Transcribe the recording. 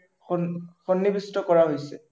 সন্নিবিষ্ট কৰা হৈছে।